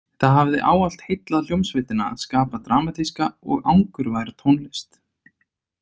Það hafði ávallt heillað hljómsveitina að skapa dramatíska og angurværa tónlist.